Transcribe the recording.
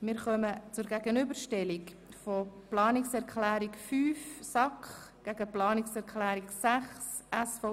Wir kommen zur Gegenüberstellung der Planungserklärung 5 der SAK und der Planungserklärung 6 der SVP.